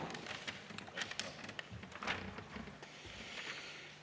Aitäh!